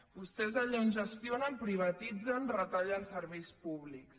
vostès allà on gestionen privatitzen retallen serveis públics